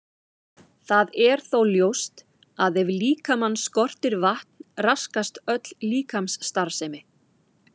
Það er þó ljóst að ef líkamann skortir vatn raskast öll líkamsstarfsemi.